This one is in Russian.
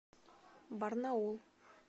барнаул